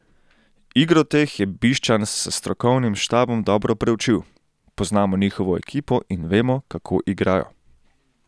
Igro teh je Bišćan s strokovnim štabom dobro preučil: 'Poznamo njihovo ekipo in vemo, kako igrajo.